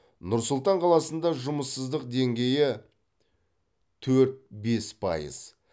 нұр сұлтан қаласында жұмыссыздық деңгейітөрт бес пайыз